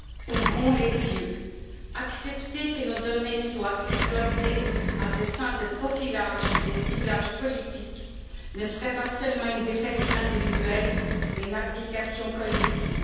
Ouvrons les yeux. Accepter que nos données soient exploitées à des fins de profilage et de ciblage politique ne serait pas seulement une défaite individuelle, mais une abdication collective.